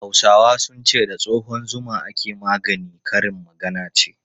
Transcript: Hausawa sun ce 'da tsohon zuma ake magani', karin magana ce.